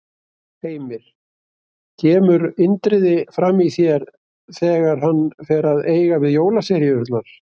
Heimir: Kemur Indriði fram í þér þegar hann fer að eiga við jólaseríurnar?